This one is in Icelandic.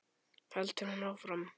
heldur hún áfram.